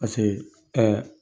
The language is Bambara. Paseke